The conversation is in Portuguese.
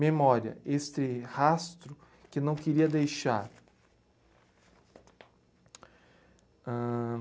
Memória, este rastro que não queria deixar. Ãh